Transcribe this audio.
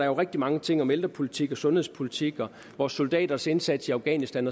jo rigtig mange ting om ældrepolitik og sundhedspolitik og vores soldaters indsats i afghanistan